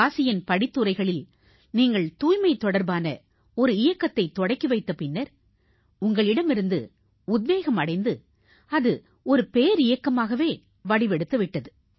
காசியின் படித்துறைகளில் நீங்கள் தூய்மை தொடர்பான இயக்கத்தைத் தொடக்கி வைத்த பின்னர் உங்களிடமிருந்து உத்வேகம் அடைந்து அது பேரியக்கமாகவே வடிவெடுத்து விட்டது